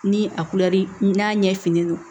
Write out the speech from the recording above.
Ni a n'a ɲɛ finnen don